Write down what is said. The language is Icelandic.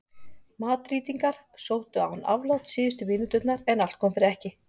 Madrídingar sóttu án afláts síðustu mínúturnar en allt kom fyrir ekki.